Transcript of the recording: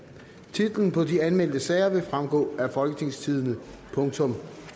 titlerne på de anmeldte sager vil fremgå af folketingstidende